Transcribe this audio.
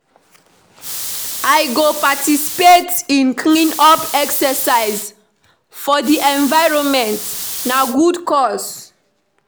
I go participate in clean-up exercise for di environment; na good cause.